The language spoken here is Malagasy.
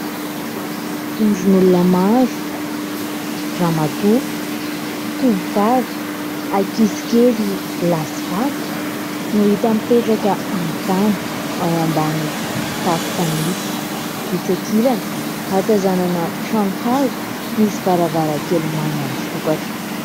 Vondron'olona maro : ramatoa, tovovavy, ankizy kely lahy sy vavy no hita mipetraka amin'ny tany ao ambany tafo fanitso. Etsy akilany, ahatazanana trano hazo misy varavarankely manga misokatra.